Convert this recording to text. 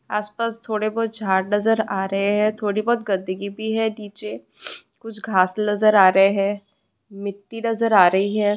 आस पास थोड़े बहुत झाड़ नजर आ रहे हैं। थोड़ी बहुत गंदेगी भी है नीचे। कुछ घास लजर आ रहे है मिट्टी नजर आ रही है।